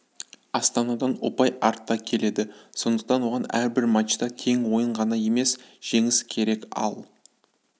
астанадан ұпай артта келеді сондықтан оған әрбір мачта тең ойын ғана емес жеңіс керек ал